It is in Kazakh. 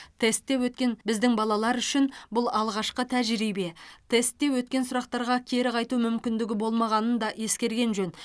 тестте өткен біздің балалар үшін бұл алғашқы тәжірибе тестте өткен сұрақтарға кері қайту мүмкіндігі болмағанын да ескерген жөн